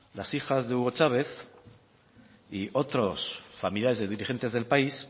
las hijas de hugo chávez y otros familiares de dirigentes del país